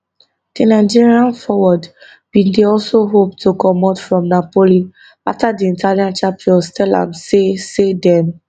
di nigerian forward bin dey also hope to comot from napoli afta di italian champions tell am say say dem